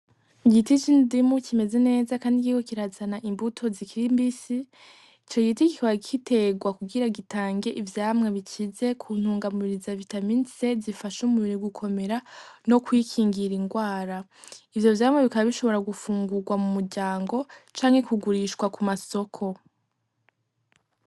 Igiti c'indimu kimeze neza, kandi kiriko kirazana imbuto zikiri mbisi. Ico giti kikaba giterwa kugira gitange ivyamwa bikize ku ntungamubiri za vitamine C zifasha umubiri gukomera, no kwikingira indwara. Ivyo vyamwa bikaba bishobora gufungurwa mu muryango canke kugurishwa ku masoko.